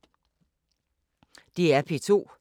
DR P2